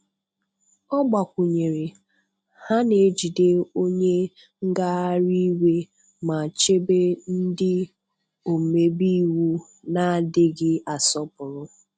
Ọ gbakwụnyere, 'Ha na-ejide onye ngagharị iwe ma chebe ndị omebe iwu na-adịghị asọpụrụ.